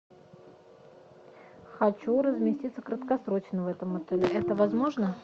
хочу разместиться краткосрочно в этом отеле это возможно